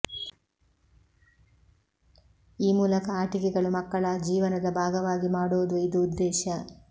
ಈ ಮೂಲಕ ಆಟಿಕೆಗಳು ಮಕ್ಕಳ ಜೀವನದ ಭಾಗವಾಗಿ ಮಾಡುವುದು ಇದು ಉದ್ದೇಶ